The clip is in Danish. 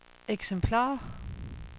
eksemplarer